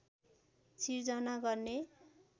सिर्जना गर्ने